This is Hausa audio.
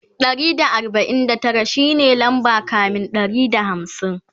Ɗari da arbain da Tara shine lamba kamin Ɗari da hamsin